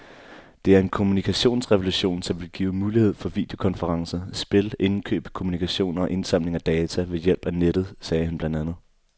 Det er en kommunikationsrevolution, som vil give mulighed for videokonferencer, spil, indkøb, kommunikation og indsamling af data ved hjælp af nettet, sagde han blandt andet.